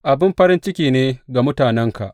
Abin farin ciki ne ga mutanenka!